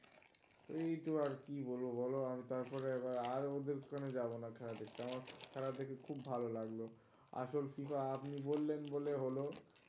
এই তো আরকি বলবো বল? আর তারপরে এরা আর ওদের তো আমি যাব না খেলা দেখতে. আমার খেলা দেখে খুব ভালো লাগলো, আসল FIFA আপনি বললেন বলে হল.